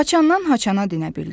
Haçandan-haçana dinə bildi.